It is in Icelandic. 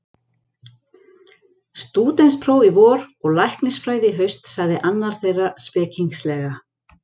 Stúdentspróf í vor og læknisfræði í haust sagði annar þeirra spekingslega.